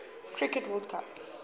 cricket world cup